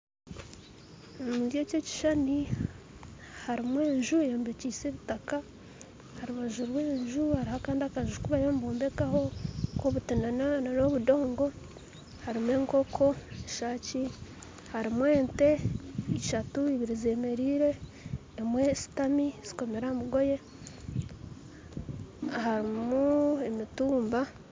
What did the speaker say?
Omu kishuushani harimu enju eyombekyise obudoongo aharubanju rwayo hariho akandi kanju aku bariyo nibombekaho ak'obuti n'obudoongo, harimu enkooko eshaaki, ente eshatu, ibiiri z'emeraire emwe abyami kandi zikomirwe aha mugooye, harimu n'emituuba